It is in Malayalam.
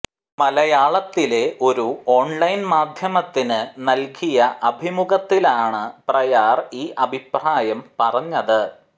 മലയാളത്തിലെ ഒരു ഓൺ ലൈൻ മാധ്യമത്തിന് നൽകിയ അഭിമുഖത്തിലാണ് പ്രയാർ ഈ അഭിപ്രായം പറഞ്ഞത്